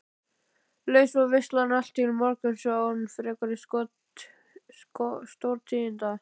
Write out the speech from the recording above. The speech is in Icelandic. Leið svo veislan allt til morguns án frekari stórtíðinda.